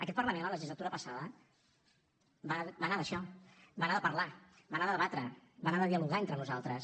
aquest parlament la legislatura passada va anar d’això va anar de parlar va anar de debatre va anar de dialogar entre nosaltres